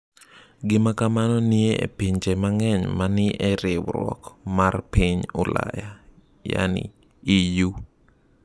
Gima kamano nitie e pinje mang’eny ma ni e riwruok mar piny Ulaya (EU).